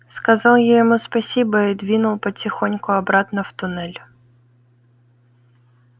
сказал я ему спасибо и двинул потихоньку обратно в туннель